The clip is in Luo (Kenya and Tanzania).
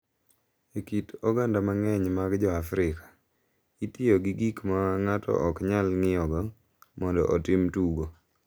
E kit oganda mang’eny mag Joafrika, itiyo gi gik ma ng’ato ok nyal ng’iyogo mondo otim tugo,